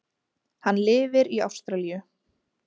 Hann lifir í Ástralíu.